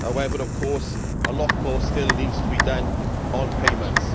However, of course, a lot still needs to be done on payments.